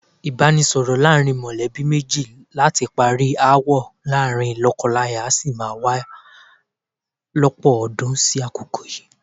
Ìbánisọ̀rọ̀ láàrin mọ̀lẹ́bí méjì láti parí aáwọ̀ láàrin lọ́kọláya sì má wá lọ́pọ̀ ọdún sí àkókò yìí.